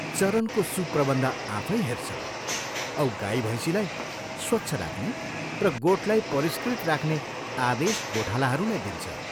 चरनको सुप्रबन्ध आफैँ हेर्छ औ गाई भैंसीलाई स्वच्छ राख्ने र गोठलाई परिष्कृत राख्ने आदेश गोठालाहरूलाई दिन्छ।